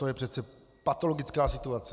To je přece patologická situace!